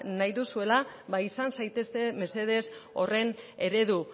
nahi duzuela ba izan zaitezte mesedez horren eredu